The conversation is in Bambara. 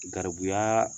Garibuyaa